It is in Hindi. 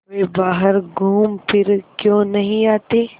वे बाहर घूमफिर क्यों नहीं आते